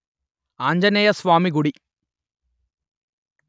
ఆంజనేయ స్వామి గుడి